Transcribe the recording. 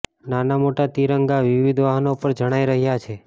નાના મોટા તિરંગા વિવિધ વાહનો પર જણાય રહ્યા છે